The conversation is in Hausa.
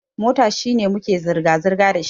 Mota shine muke zirga-zirga dashi.